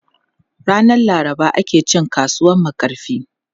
Ranan Laraba ake cin kasuwan Makarfi.